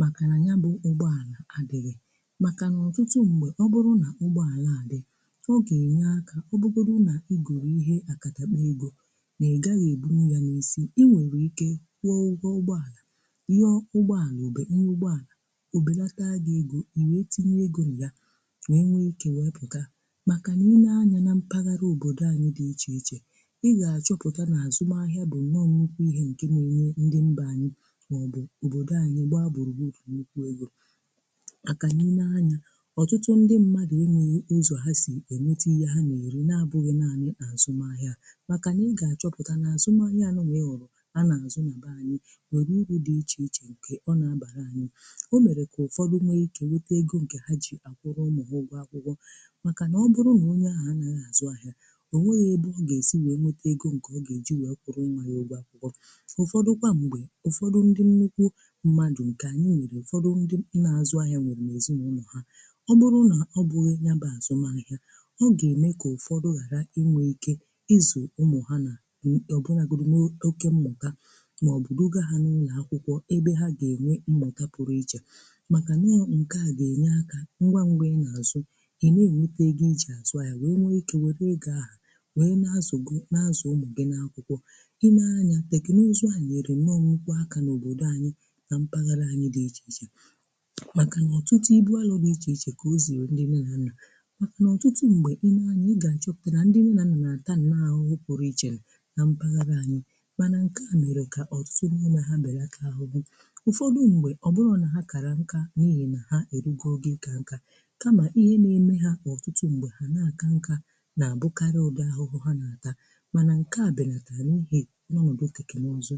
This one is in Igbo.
maka nà ya bụ ụgbọalà adịghị, maka n’ọtụtụ mgbe ọ bụrụ nà ụgbọalà adị ọ ga-enye akà ọ bụgbọdụ nà igoro ihe akàtakpọ egȯ na-egaghị eburù ya n’isi inwere ike kwụọ ụgwọ ọgbọalà, ihe ọ ụgbọalà obere nrụ ụgbọalà obelata agị egȯ iweetinyè egȯ yà wee nwee ike wepùtà maka nà i nee anya na mpaghara òbòdò anyị dị iche ichè ịgachọputa azụmahịa bụ nnọọ nnụkwụ ihe nke n'enye ndị mba anyị maọbụ obodo anyị gbaa gburugburu nnukwu ego maka n'ine anya ọtụtụ ndị mmadụ̀ enweghị ụzọ ha si enweta ihe ha na-eri na-abụghị naanị n’azụmahịa maka nà ị ga-achọpụta n’azụmahịa anụnwa ịhụrụ a na-azụ na be anyị nwere uru dị iche iche nke ọ na-abara anyị o mere ka ụfọdụ nwee ike nweta ego nke ha ji akwụrụ ụmụ ha ụgwọ akwụgwọ maka na ọ bụrụ na onye ahụ a naghị ahịa, onweghị ebe ọ gesi wee nweta ego ọga eji wee kwụrụ ụmụ ya ụgwọ akwụkwọ ụfọdụ̀ kwa mgbe ụfọdụ̀ ndị nnukwu mmadụ̀ nke anyị nwere ụfọdụ̀ ndị na-azụ̀ ahịà nwere na-ezinaụnọ ha, ọ bụrụ̀ na ọ bụghị̀ ya bụ̀ azụmà ahịà ọ ga-eme ka ụfọdụ̀ ghara inwe ike ịzụ̀ ụmụ ha na m ọbụnagodu n’oke mmụ̀ta maọ̀bụ̀ duga ha n’ụlọ̀ akwụkwọ̀ ebe ha ga-enwe mmụ̀ka pụrụ̀ iche makà na nke a ga-enye akà ngwa ngwa ndị̀ e na-azụ̀ ihe n’enwete ego iji azụ̀ ahịa wee nwe ike wèe ego ahụ̀ wee n'azu umu gi n'akwụkwọ ineè anya tèkènụzụ a nyèrè nnọọ̀ nnukwu akà na òbodò anyị̀ na mpaghara anyị̀ dị ichè ichè makà nà ọtụtụ ibu alà dị ichè ichè kà ozierè ndị nne na nnà màkà nà ọtụtụ m̀gbè inè anyị̀ ịgà achọpụtà nà ndị nne nà nnà na-àtà ahụhụ pụrụ ichè na mpaghara anyị̀ manà nke à mere kà ọtụtụ n'ime ha belata ahuhu. ụfọdụ̀ m̀gbè ọ bụrọ nà ha kàrà nkà n’ihi na ha erugo ogo ịkà nkà kamà ihe na-eme ha ọtụtụ m̀gbè ha na-akà nkà nà abụkarị ụdị ahụhụ ha nà-àtà, mana nke a belata n'ihi na anọ n'oge tekenụzụ.